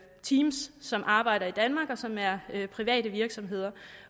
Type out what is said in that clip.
teams som arbejder i danmark og som er private virksomheder